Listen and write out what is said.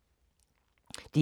DR1